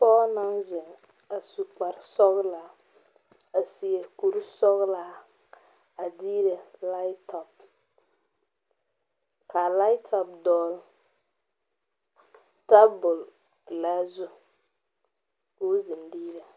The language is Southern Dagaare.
Pɔge naŋ zeŋ a su kparre sɔglaa a seɛ kuri sɔglaa a deɛ laptop ka a laptop dogli tabol pelaa zu ka o seŋ diire.